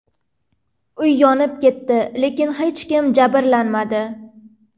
Uy yonib ketdi, lekin hech kim jabrlanmadi.